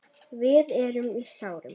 Við erum í sárum.